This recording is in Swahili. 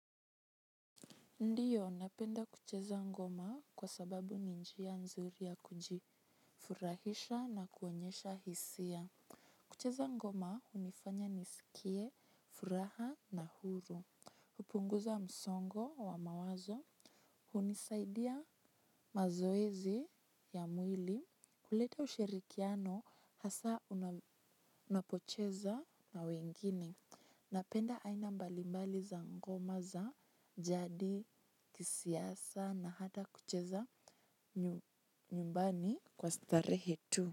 Ndiyo, napenda kucheza ngoma kwa sababu ni njia nzuri ya kujifurahisha na kuonyesha hisia. Kucheza ngoma unifanya nisikie, furaha na huru. Hupunguza msongo wa mawazo. Hunisaidia mazoezi ya mwili. Huleta ushirikiano hasa unapocheza na wengine. Napenda aina mbalimbali za ngoma za, jadi, kisiasa na hata kucheza nyumbani kwa starehe tu.